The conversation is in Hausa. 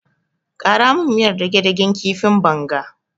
Ƙara min miyar dage-dagen kifin bonga.